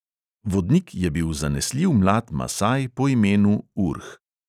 Vodnik je bil zanesljiv mlad masaj po imenu urh.